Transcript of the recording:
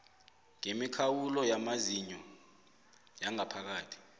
ngemikhawulo yamazinyo yangaphakathi